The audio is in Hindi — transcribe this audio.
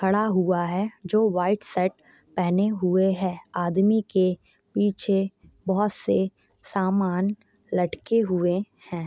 खड़ा हुआ है जो वाइट शर्ट पेहने हुए है आदमी के पीछे बहोत से सामान लटके हुए है।